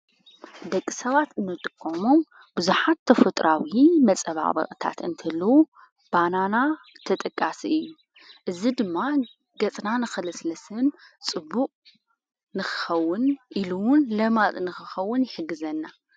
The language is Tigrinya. ደቂ ሰባት ነጥቆሞም ብዙኃት ተፈጥራው መጸባ በቕታት እንተልዉ ባናና ተጠቃሲ እዝ ድማ ገጽናን ኽለስለስን ጽቡቕ ንኽኸውን ኢሉውን ለማጥ ንኽኸውን ይሕግዘናይሕግዘና።